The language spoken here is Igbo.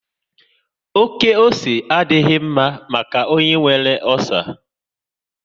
Oké ose adịghị mma maka onye nwere ọcer